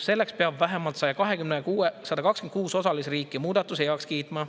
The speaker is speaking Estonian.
Selleks peab vähemalt 126 osalisriiki muudatuse heaks kiitma.